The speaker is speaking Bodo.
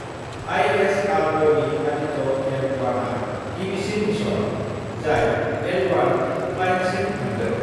आइएसआरअनि आदित्य एल 1 आ गिबिसिन मिशन, जाय एल 1 प्लाइन्टसिम थांगोन।